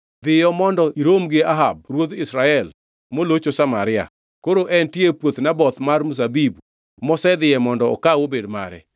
“Dhiyo mondo irom gi Ahab ruodh Israel molocho Samaria. Koro entie e puoth Naboth mar mzabibu mosedhiye mondo okaw obed mare.